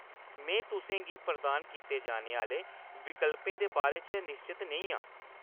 में तुसें गी प्रदान कीते जाने आह्‌‌‌ले विकल्पें दे बारे च निश्चत नेईं आं।